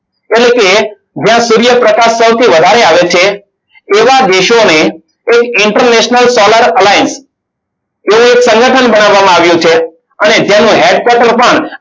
એટલે કે જ્યાં સૂર્યપ્રકાશ સૌથી વધારે આવે છે. એવા દેશોને એ international foler alline એ એક સંગઠન બનાવવામાં આવ્યું છે. અને જેનું head quarter પણ